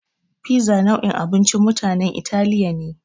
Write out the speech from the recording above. Fiza nau'in abincin mutanen Italiya ne.